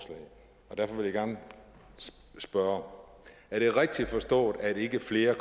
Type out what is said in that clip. derfor vil jeg gerne spørge er det rigtigt forstået at der ikke er flere